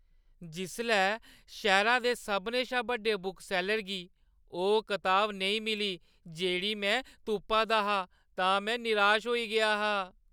जिसलै शैह्‌रै दे सभनें शा बड्डे बुकसैल्लर गी ओह् कताब नेईं मिली जेह्ड़ी में तुप्पा दा हा तां में निराश होई गेआ हा।